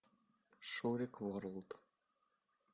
шурик ворлд